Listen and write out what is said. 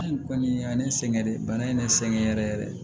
Hali kɔni y'a ne sɛgɛn dɛ bana in ne sɛgɛn yɛrɛ yɛrɛ